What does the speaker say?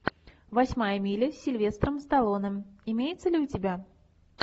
восьмая миля с сильвестром сталлоне имеется ли у тебя